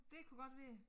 Dét kunne godt være